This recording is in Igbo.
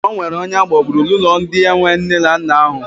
Ọ nwere onye agbagburu n'ụlọ ndị enwe nne na nna ahụ.